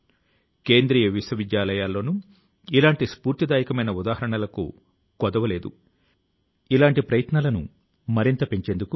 ఈ విధం గా మీరు 2022వ సంవత్సరం లో మంచి పుస్తకాల ను ఎంపిక చేసుకోవడానికి ఇతర పాఠకులకు కూడా సహాయం చేయగలుగుతారు